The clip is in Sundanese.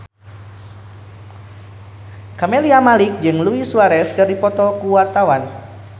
Camelia Malik jeung Luis Suarez keur dipoto ku wartawan